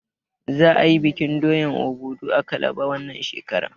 Za a yi bikin doyan Obudu a kalaba wannan shekarar.